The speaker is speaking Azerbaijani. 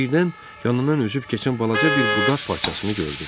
Birdən yanından üzüb keçən balaca bir budaq parçasını gördü.